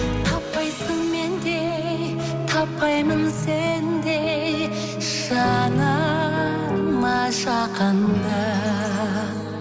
таппайсың мендей таппаймын сендей жаныма жақынды